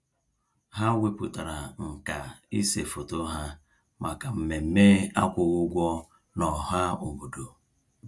Ha wepụtara nkà ịse foto ha maka mmemme akwụghị ụgwọ n'ọhaobodo.